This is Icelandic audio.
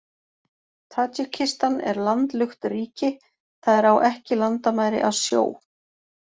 Tadsjikistan er landlukt ríki, það er á ekki landamæri að sjó.